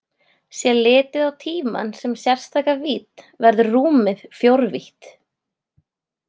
Sé litið á tímann sem sérstaka vídd verður rúmið fjórvítt.